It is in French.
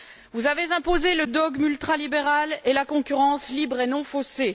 Vous avez imposé le dogme ultralibéral et la concurrence libre et non faussée.